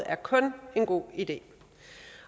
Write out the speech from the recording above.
er kun en god idé